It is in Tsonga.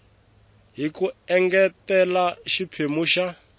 hi ku engetela xiphemu xa